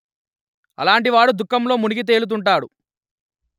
అలాంటి వాడు దుఃఖంలో మునిగి తేలుతుంటాడు